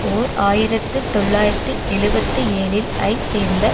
ஓர் ஆயிரத்து தொள்ளாயிரத்து எழுபத்து ஏழில் ஐ சேர்ந்த